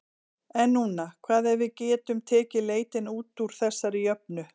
En núna, hvað ef við getum tekið leitina út úr þessari jöfnu?